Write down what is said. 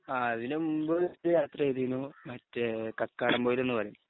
ആ അതിലുമുമ്പ് ഒരു യാത്ര ചെയ്തിരുന്നു മറ്റേ കക്കാടംപൊയ്യിലെന്നു പറയും